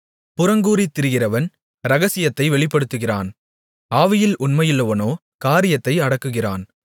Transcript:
புறங்கூறித் திரிகிறவன் இரகசியத்தை வெளிப்படுத்துகிறான் ஆவியில் உண்மையுள்ளவனோ காரியத்தை அடக்குகிறான்